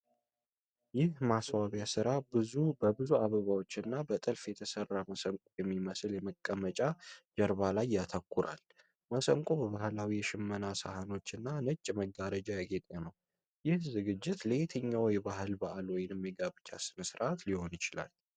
ይህ የማስዋቢያ ሥራ በብዙ አበባዎች እና በጥልፍ የተሠራ መሰንቆ በሚመስል የመቀመጫ ጀርባ ላይ ያተኩራል። መሰንቆው በባህላዊ የሽመና ሳህኖችና ነጭ መጋረጃ ያጌጠ ነው። ይህ ዝግጅት ለየትኛው የባህል በዓል ወይም የጋብቻ ሥነ ሥርዓት ሊሆን ይችላል?